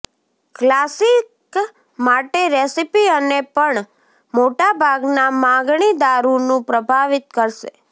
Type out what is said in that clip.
classic માટે recipe અને પણ મોટા ભાગના માગણી દારૂનું પ્રભાવિત કરશે